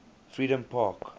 freedompark